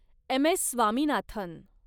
M. S. Swaminathan